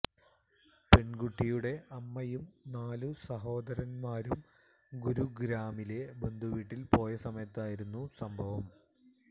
പെണ്കുട്ടിയുടെ അമ്മയും നാലു സഹോദരന്മാരും ഗുരുഗ്രാമിലെ ബന്ധുവീട്ടില് പോയ സമയത്തായിരുന്നു സംഭവം